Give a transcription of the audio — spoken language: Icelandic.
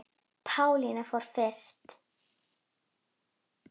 Pálína fór fyrst.